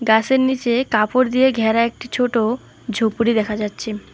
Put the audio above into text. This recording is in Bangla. গাসের নিচে কাপড় দিয়ে ঘেরা একটি ছোট ঝুপড়ি দেখা যাচ্ছে।